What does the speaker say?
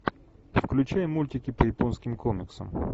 включай мультики по японским комиксам